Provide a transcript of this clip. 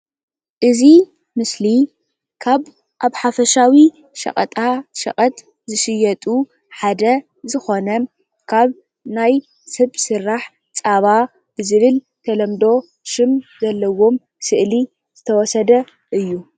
እዚ ምስሊ ካብ ኣብ ሓፈሻዊ ሸቀጣ ሸቀጥ ዝሽየጡ ሓደ ዝኾነን ካብ ናይ ስብ ስራሕ ፀባ ዝብል ብተለምዶ ሽም ዘለዎም ስእሊ ዝተወሰደ እዩ፡፡